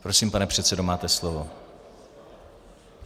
Prosím, pane předsedo, máte slovo.